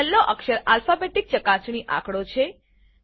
છેલ્લો અક્ષર આલ્ફાબેટીક ચકાસણી આંકડો છે